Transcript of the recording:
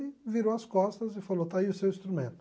e virou as costas e falou, está aí o seu instrumento.